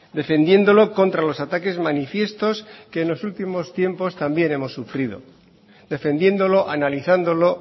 defendiéndolo contra los ataques manifiestos que en los últimos tiempos también hemos sufrido defendiéndolo analizándolo